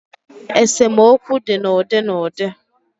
Esemokwu di n' udi n'udi.